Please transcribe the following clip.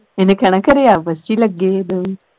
ਇਹਨੇ ਕਹਿਣਾ ਖਰੇ ਆਪਸ ਵਿੱਚ ਲੱਗੇ ਹੈ ਦੋਵੇ